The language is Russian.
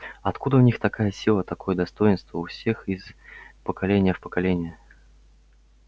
откуда у них такая сила такое достоинство у всех из поколения в поколение